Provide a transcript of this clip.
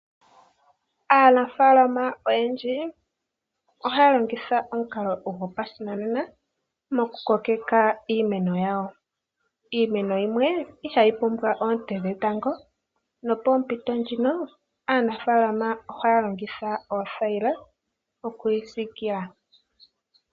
Aanafalama oyendji ohaya longitha omukalo gopashinanena, moku kokeka iimeno yawo. Iimeno yimwe ihayi pumbwa oonte dhetango, nopoompito ndhino, aanafaalama ohaya longitha oothayila, oku yi siikila.